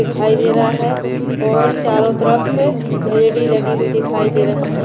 दिखाई दे रहा है और चारों तरफ एड़ी लगी हुई दिखाई दे रही है।